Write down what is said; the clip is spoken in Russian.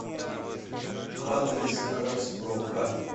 адрес краспрокат